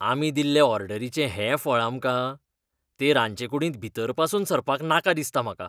आमी दिल्ले ऑर्डरीचें हें फळ आमकां? ते रांदचेकुडींत भीतर पासून सरपाक नाका दिसता म्हाका.